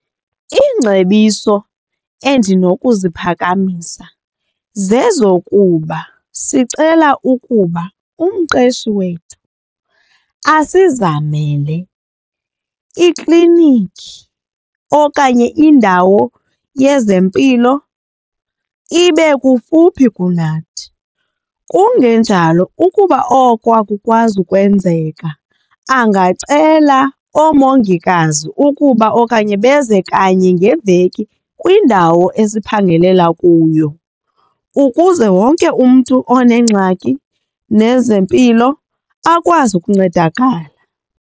Iingcebiso endinokuziphakamisa zezokuba sicela ukuba umqeshi wethu asizamele ikliniki okanye indawo yezempilo ibe kufuphi kunathi. Kungenjalo ukuba oko akukwazi ukwenzeka angacela oomongikazi ukuba okanye beze kanye ngeveki kwindawo esiphangelela kuyo, ukuze wonke umntu oneengxaki nezempilo akwazi ukuncedakala.